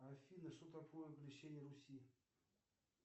афина что такое крещение руси